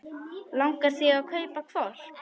Langar þig að kaupa hvolp?